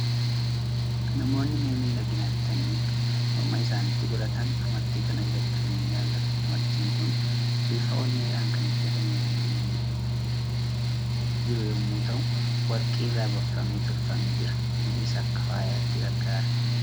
Namoonni mi'a miidhaginaa bitanii morma isaaniitti godhatan, amartii kana bitachuu ni jaalatu. Amartiin kun bifa onneedhaan kan hojjetamee jiru yommuu ta'u, warqii irraa baqfamee tolfamee jira. Innis akka faayaatti gargaara.